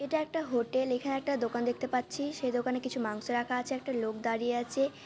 এটা একটা হোটেল। এখানে একটা দোকান দেখতে পাচ্ছি। সে দোকানে কিছু মাংস রাখা আছে একটা লোক দাঁড়িয়ে আছে।